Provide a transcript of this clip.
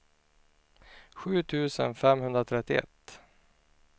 sju tusen femhundratrettioett